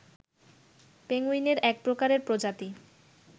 পেঙ্গুইনের এক প্রকারের প্রজাতি